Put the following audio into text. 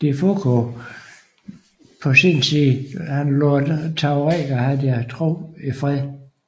De Foucauld på sin side lod tuaregerne have deres tro i fred